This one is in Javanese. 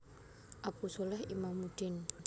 Abu sholeh Imamuddin